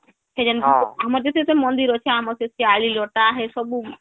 ସେଇଯେନ ଯେତେ ଯେତେ ମନ୍ଦିର ଅଛି ଆମର ସେ ଶିଆଳି ଲତା ହେ ସବୁ